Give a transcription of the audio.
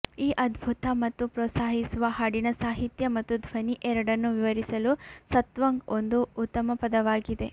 ಈ ಅದ್ಭುತ ಮತ್ತು ಪ್ರೋತ್ಸಾಹಿಸುವ ಹಾಡಿನ ಸಾಹಿತ್ಯ ಮತ್ತು ಧ್ವನಿ ಎರಡನ್ನೂ ವಿವರಿಸಲು ಸತ್ವಂಗ್ ಒಂದು ಉತ್ತಮ ಪದವಾಗಿದೆ